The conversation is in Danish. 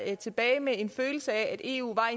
jeg tilbage med en følelse af at eu var